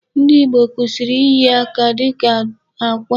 Ndị Ìgbo kwụsịrị iyi aka dịka akwa.